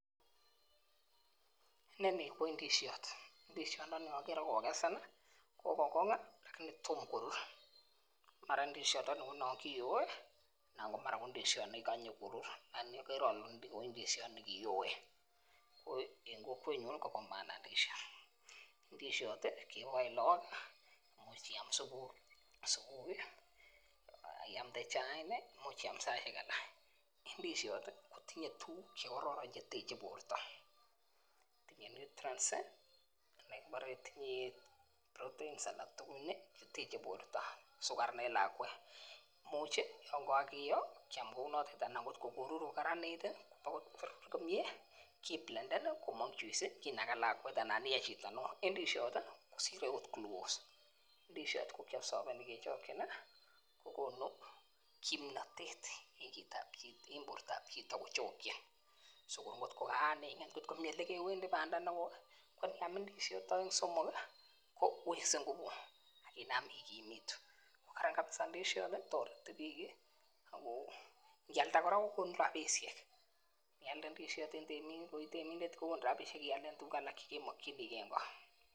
Inoni koi indisiot, indisiat noon agere kokesen ih, kokonge Ako tom korur. Mara indisiat ko naan kiyoe anan ndisiat nekikanye korur, agere ale nekiyoe ko en kokwetnyun ih koba maana indisiot, indisiot ih kebaen laak ih kot I am subui iamnde chain ih imuch ism saisiek alak. Indisiot ih kotinye tuguk che kororon cheteche borta, tinye nutrients ih mara tinye proteins cheteche borta so kararan en borta Anan en lakuet, imuch ih kiyo kounato anan ko kararanit ih korur komie kiblenden ih komang juice anan akot ndisiat keopsaveni kechakchin ih kokonu kimnatet en bortab chito kichakchin, atkokaing'et ih elekewendi Banda nekoi kowekse ngubut kotareti bik ih Ako ingialda kokonu rabisiek